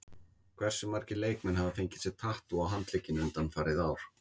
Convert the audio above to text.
Hversu margir leikmenn hafa fengið sér tattú á handlegginn undanfarið ár?